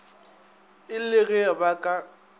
e le ge ba ka